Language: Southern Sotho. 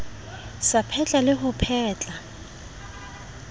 sa phetla le ho phetla